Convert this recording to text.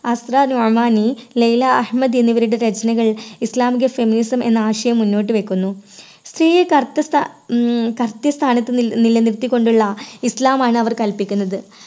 Asra Nomani, Leila Ahmed എന്നിവരുടെ രചനയിൽ ഇസ്ലാമിക feminism എന്ന ആശയം മുന്നോട്ട് വയ്ക്കുന്നൂ. സ്ത്രീയെ correct സ്ഥാ ഉം correct സ്ഥാനത്ത് നി~നിലനിർത്തികൊണ്ടുള്ള ഇസ്ലാം ആണ് അവർ കൽപ്പിക്കുന്നത്.